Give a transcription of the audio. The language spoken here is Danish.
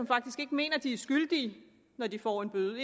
faktisk ikke mener at de er skyldige når de får en bøde